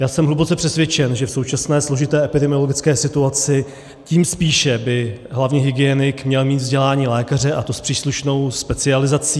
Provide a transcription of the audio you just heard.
Já jsem hluboce přesvědčen, že v současné složité epidemiologické situaci tím spíše by hlavní hygienik měl mít vzdělání lékaře, a to s příslušnou specializací.